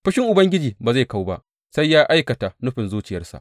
Fushin Ubangiji ba zai kau ba sai ya aikata nufin zuciyarsa.